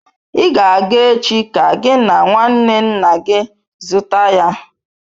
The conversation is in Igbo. I ga-aga echi ka gị na nwanne nna gị zụta ya!